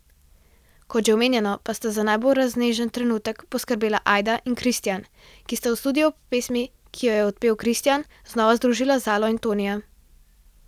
Kot že omenjeno pa sta za najbolj raznežen trenutek poskrbela Ajda in Kristjan, ki sta v studiu ob pesmi, ki jo je odpel Kristjan, znova združila Zalo in Tonija.